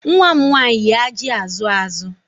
Nwa m nwanyị yi ajị azụ azụ